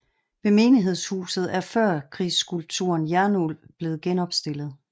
Ved menighedshuset er førkrigsskulpturen Jernulv blevet genopstillet